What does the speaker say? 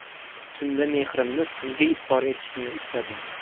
Tunda mehrimni sizga izhor etishni istadim.